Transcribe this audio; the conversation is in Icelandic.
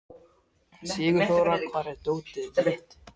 Sigurþóra, hvar er dótið mitt?